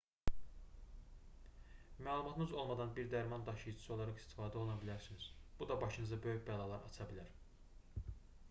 məlumatınız olmadan bir dərman daşıyıcısı olaraq istifadə oluna bilərsiniz bu da başınıza böyük bəlalar aça bilər